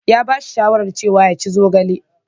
Ya ba shi shawara cewa yaci zogale.